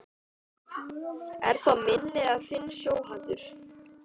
Er það minn eða þinn sjóhattur